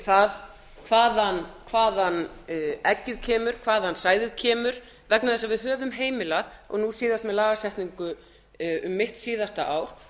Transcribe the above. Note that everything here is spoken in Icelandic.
það hvaðan eggið kemur hvaðan sæðið kemur vegna þess að við höfum heimilað og nú síðast með lagasetningu um mitt síðasta ár